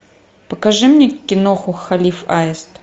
покажи мне киноху халиф аист